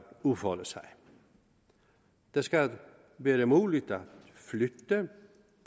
udfolde sig det skal være muligt